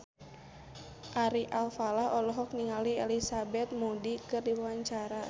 Ari Alfalah olohok ningali Elizabeth Moody keur diwawancara